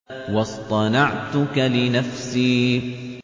وَاصْطَنَعْتُكَ لِنَفْسِي